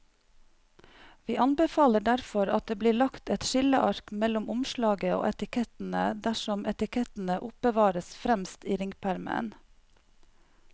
Vi anbefaler derfor at det blir lagt et skilleark mellom omslaget og etikettene dersom etikettene oppbevares fremst i ringpermen.